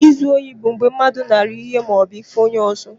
Izu ohi bụ mgbe mmadụ nara ihe ma obu ife onye ọzọ.